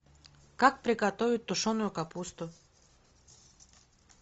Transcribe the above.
как приготовить тушеную капусту